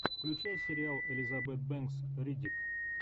включай сериал элизабет бэнкс риддик